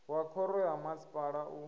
wa khoro ya masipala u